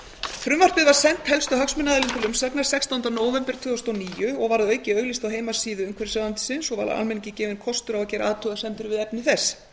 frumvarpið var sent helstu hagsmunaaðilum til umsagnar sextánda nóvember tvö þúsund og níu og var að auki auglýst á heimasíðu umhverfisráðuneytisins og var almenningi gefinn kostur á að gera athugasemdir við efni þess